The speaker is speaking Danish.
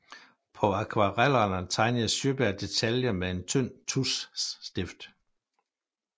På akvarellerne tegnede Sjöberg detaljer med en tynd tuschstift